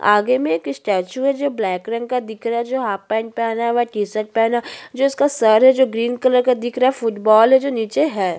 आगे में एक स्टेचू हैं जो ब्लैक रंग का दिख रहा है जो हाफ पैंट पहना हुआ है टी शर्ट पहना जिसका सर है जो ग्रीन कलर का दिख रहा है फुटबॉल है जो नीचे है।